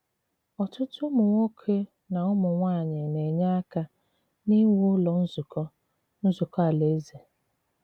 Ọ̀tùtù ùmụ̀nwòkè na ùmụ̀nwàànyị na-enyè àka n’ìwù Ụ̀lọ́ Nzukọ́ Nzukọ́ Alàèzè.